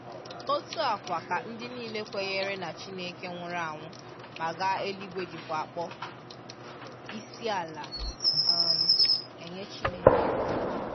Otu a kwa ka ndị niile kwenyere na Chineke nwụrụ anwụ ma gaa eluigwe jikwa akpọ isiala um enye Chineke.